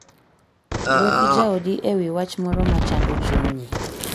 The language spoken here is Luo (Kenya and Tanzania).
Wuo gi jaodi e wi wach moro ma chando chunyi.